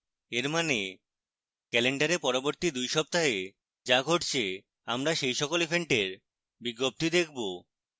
এর means calendar পরবর্তী 2 সপ্তাহে যা ঘটছে আমরা সেই সকল events বিজ্ঞপ্তি দেখবো